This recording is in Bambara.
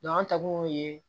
an ta dun ye